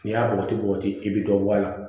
N'i y'a bɔgɔti kɔgɔti i bɛ dɔ bɔ a la